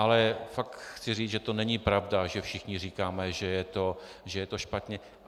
Ale fakt chci říci, že to není pravda, že všichni říkáme, že je to špatně.